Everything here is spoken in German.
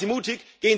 Seien Sie mutig!